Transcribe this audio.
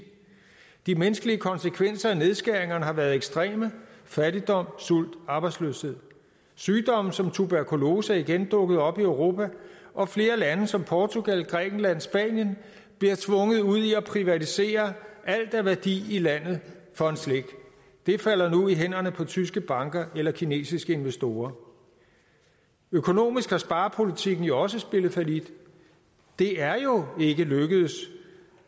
de menneskelige konsekvenser af nedskæringerne har været ekstreme fattigdom sult og arbejdsløshed sygdomme som tuberkulose er igen dukket op i europa og flere lande som portugal grækenland og spanien bliver tvunget ud i at privatisere alt af værdi i landet for en slik det falder nu i hænderne på tyske banker eller kinesiske investorer økonomisk har sparepolitikken jo også spillet fallit det er jo ikke lykkedes